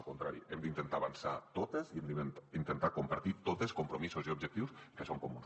al contrari hem d’intentar avançar totes i hem d’intentar compartir totes compromisos i objectius que són comuns